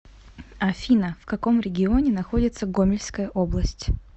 афина в каком регионе находится гомельская область